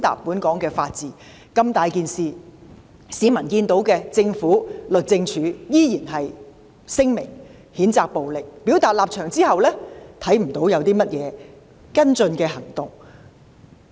面對這一重大事件，政府和律政司依然只是發出聲明譴責暴力，在表達立場後沒有採取其他跟進行動。